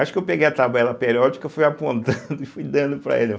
Acho que eu peguei a tabela periódica, fui apontando e fui dando para ele.